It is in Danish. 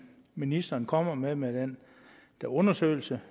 ministeren kommer med med den undersøgelse